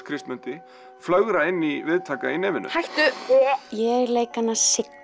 Kristmundi flögra inn í viðtaka í nefinu hættu ég leik hana